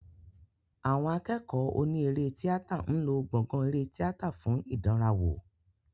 Àwọn akẹ́kọ̀ọ́ oní eré tíátà ń lò gbọ̀gàn eré tíátà fún ìdánrawò.